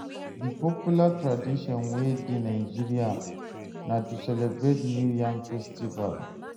Di popular tradition wey de nigeria na to celebrate new yam festival